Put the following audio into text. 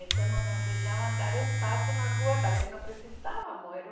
Então não nos deixavam dar um passo na rua, também não precisávamos.